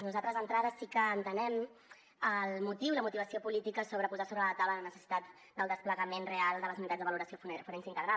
nosaltres d’entrada sí que entenem el motiu i la motivació política de posar sobre la taula la necessitat del desplegament real de les unitats de valoració forense integral